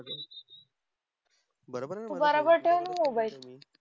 तु बराबर ठेव ना मोबाईल